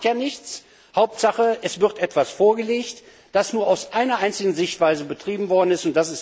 Aber das macht ja nichts, Hauptsache, es wird etwas vorgelegt, das nur aus einer einzigen Sichtweise betrieben worden ist.